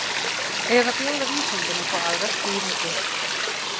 Eða bjóða vísindin upp á aðra skýringu?